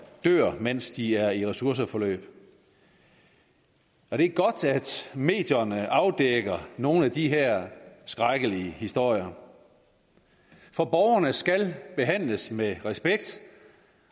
dør mens de er i ressourceforløb det er godt at medierne afdækker nogle af de her skrækkelige historier for borgerne skal behandles med respekt